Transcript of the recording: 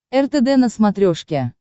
ртд на смотрешке